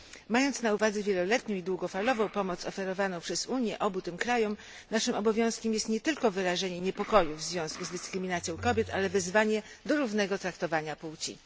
Mając na uwadze wieloletnią i długofalową pomoc oferowaną przez Unię obu tym krajom, naszym obowiązkiem jest nie tylko wyrażenie niepokoju w związku z dyskryminacją kobiet, ale wezwanie do równego traktowania płci.